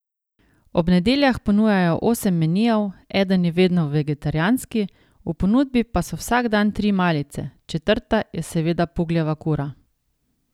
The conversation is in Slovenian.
Ob nedeljah ponujajo osem menijev, eden je vedno vegetarijanski, v ponudbi pa so vsak dan tri malice, četrta je seveda Pugljeva kura.